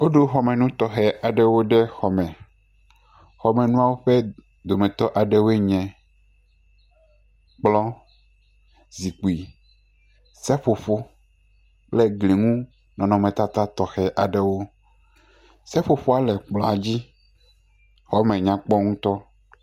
Woɖo xɔme nu tɔxɛ aɖewo ɖe xɔ me. Xɔme nuawo ƒe dometɔ aɖewoe nye; kplɔ, zikpui, seƒoƒo, kple gliŋunɔnɔmetata tɔxɛ aɖewo. Seƒoƒoa le kplɔa dzi. Xɔme nyakpɔ ŋutɔ.